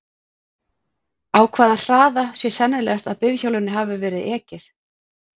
Á hvaða hraða sé sennilegast að bifhjólinu hafi verið ekið?